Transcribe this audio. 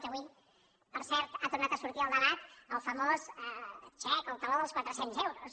que avui per cert ha tornat a sortir al debat el famós xec el taló dels quatre cents euros